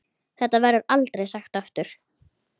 Þetta verður aldrei sagt aftur.